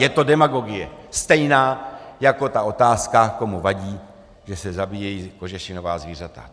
Je to demagogie, stejná jako ta otázka, komu vadí, že se zabíjejí kožešinová zvířata.